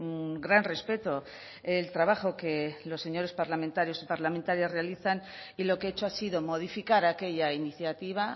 un gran respeto el trabajo que los señores parlamentarios y parlamentarias realizan y lo que he hecho ha sido modificar aquella iniciativa